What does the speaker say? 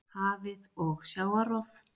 Hafið og sjávarrof